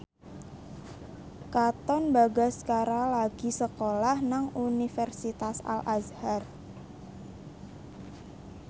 Katon Bagaskara lagi sekolah nang Universitas Al Azhar